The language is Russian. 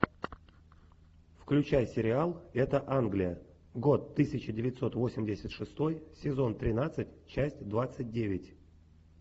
включай сериал это англия год тысяча девятьсот восемьдесят шестой сезон тринадцать часть двадцать девять